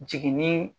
Jiginni